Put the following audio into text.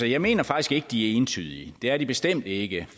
jeg mener faktisk ikke de er entydige det er de bestemt ikke